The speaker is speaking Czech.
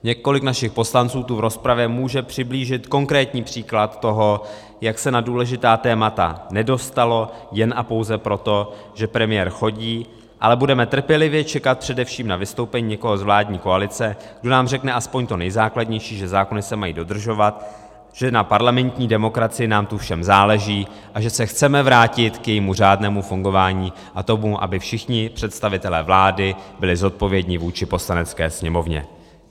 Několik našich poslanců tu v rozpravě může přiblížit konkrétní příklad toho, jak se na důležitá témata nedostalo jen a pouze proto, že premiér chodí (?), ale budeme trpělivě čekat především na vystoupení někoho z vládní koalice, kdo nám řekne aspoň to nejzákladnější, že zákony se mají dodržovat, že na parlamentní demokracii nám tu všem záleží a že se chceme vrátit k jejímu řádnému fungování a tomu, aby všichni představitelé vlády byli zodpovědní vůči Poslanecké sněmovně.